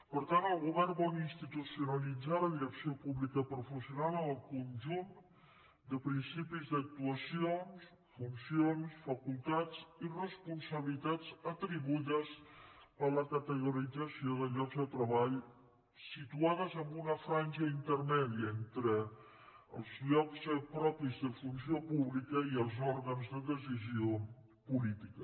per tant el govern vol institucionalitzar la direcció pública professional amb el conjunt de principis d’actuacions funcions facultats i responsabilitats atribuïdes a la categorització de llocs de treball situats en una banda intermèdia entre els llocs propis de funció pública i els òrgans de decisió política